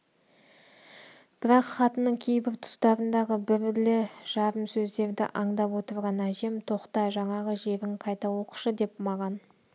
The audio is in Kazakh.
бірақ хатының кейбір тұстарындағы бірді жарым сөздерді аңдап отырған әжем тоқта жаңағы жерін қайта оқышы деп маған